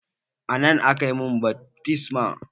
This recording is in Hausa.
A nan aka mun baftisma.